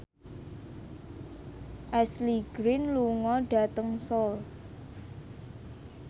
Ashley Greene lunga dhateng Seoul